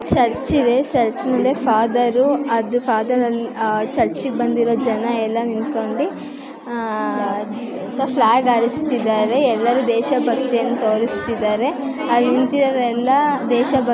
church ಇದೆ church ಮುಂದೆ father ಅದು ಫಾದರ್ ಅಲ್ಲಿ ಫಾದರ್ ಆ ಚರ್ಚಿಗ್ ಬಂದಿರೋ ಜನ ಎಲ್ಲ ನಿಂತ್ಕೊಂಡಿ ಆಹ್ಹ್ ಫ್ಲಾಗ್ ಹಾರಿಸ್ತಿದ್ದಾರೆ ಎಲ್ಲರು ದೇಶ ಭಕ್ತಿಯನ್ನು ತೋರಿಸ್ತಿದ್ದಾರೆ ಅಲ್ ನಿಂತಿರೋರೆಲ್ಲ ದೇಶಭಕ್ತಿ --